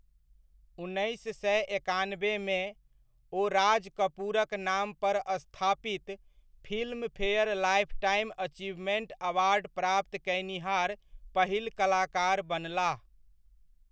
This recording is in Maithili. उन्नैस सए एकानबेमे, ओ राज कपूरक नाम पर स्थापित फिल्मफेयर लाइफटाइम अचीवमेंट अवार्ड प्राप्त कएनिहार पहिल कलाकार बनलाह।